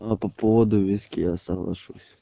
а по поводу виски я соглашусь